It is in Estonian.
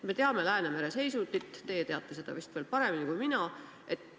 Me teame Läänemere seisundit, teie teate seda vist paremini kui mina.